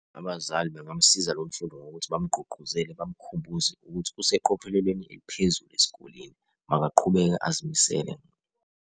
Abazali bengamsiza lo mfundi ngokuthi bamgqugquzele bamkhumbuze ukuthi useqophelelweni eliphezulu esikoleni makaqhubeke azimisele.